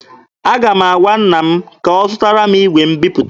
Aga m agwa nna m ka ọ zụtara m igwe mbiputa.